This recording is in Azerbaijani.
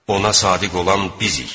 Ona sadiq olan bizik.